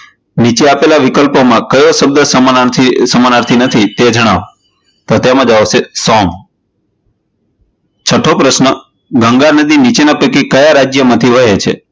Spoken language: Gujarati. નીચે આપેલ વિકલ્પોમાં કયો શબ્દ સમાનાર્થી નથી? તે જણાવો, તો તે માં જવાબ આવશે સોમ છઠો પ્રશ્ન ગંગા નદી નીચેના માંથી ક્યાં રાજ્ય માંથી વહે છે?